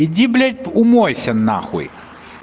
иди блядь умойся нахуй